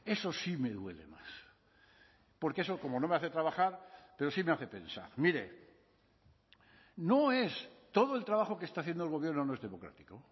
eso sí me duele más porque eso como no me hace trabajar pero sí me hace pensar mire no es todo el trabajo que está haciendo el gobierno no es democrático